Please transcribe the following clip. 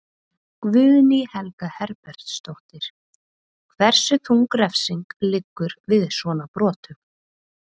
Guðný Helga Herbertsdóttir: Hversu þung refsing liggur við svona brotum?